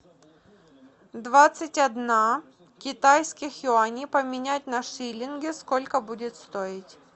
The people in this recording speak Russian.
двадцать одна китайских юаней поменять на шиллинги сколько будет стоить